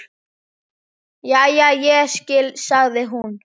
Jæja, ég skil, sagði hún.